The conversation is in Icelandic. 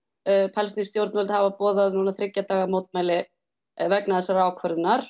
palestínsk stjórnvöld hafa boðað núna strax þriggja daga mótmæli vegna þessarar ákvörðunar